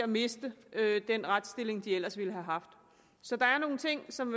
miste den retsstilling som de ellers ville have haft så der er nogle ting som